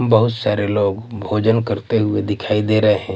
बहुत सारे लोग भोजन करते हुए दिखाई दे रहे हैं।